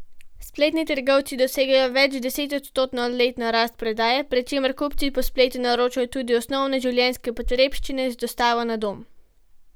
Spletni trgovci dosegajo večdesetodstotno letno rast prodaje, pri čemer kupci po spletu naročajo tudi osnovne življenjske potrebščine z dostavo na dom.